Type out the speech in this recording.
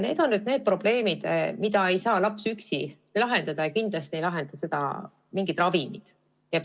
Need on probleemid, mida ei saa laps üksi lahendada ja kindlasti ei lahenda neid mingid ravimid.